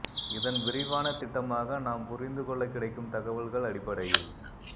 இதன் விரிவான திட்டமாக நாம் புரிந்து கொள்ள கிடைக்கும் தகவல்கள் அடிப்படையில்